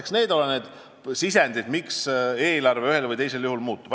Eks need ole need sisendid, miks eelarve ühel või teisel juhul muutub.